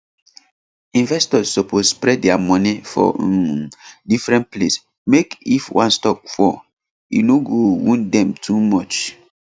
investors suppose spread dia money for um different place mek if one stock fall e no go wound dem too much